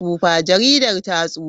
Jaridar ta tsufa.